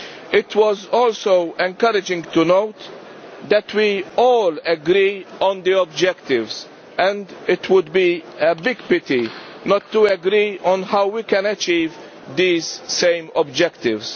It was also encouraging to note that we all agree on the objectives and it would be a big pity not to agree on how we can achieve these same objectives.